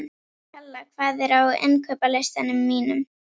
Kalla, hvað er á innkaupalistanum mínum?